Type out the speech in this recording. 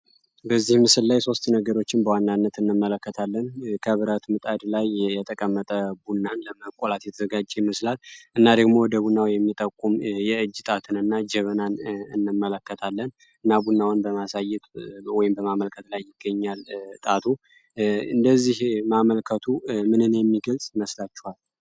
በዚህ ምስል ላይ በዋናነት ሶስት ነገሮችን እንመለከታለን ከብረት ምጣድ ቡናን ለመቁላት የተዘጋጀ ህጻን እና ደግሞ ጀበና የሚጠቁም የእጅ ጣት እንመለከታለን እና ደግሞ ቡናውን ለማሳየት በማመልከት ላይ ይገኛል ጣቱ እነዚህ እጅ ማመልከቱ ምንን የሚገልጽ ይመስላቸዋል?